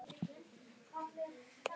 Svo margt ósagt og ógert.